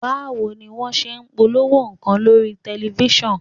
Báwo ni wọ́n ṣe ń polówó nǹkan lórí tẹ̀lifísàn?